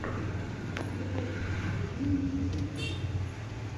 ютуб вруби мультфильмы